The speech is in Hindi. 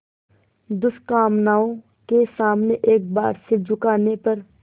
दुष्कामनाओं के सामने एक बार सिर झुकाने पर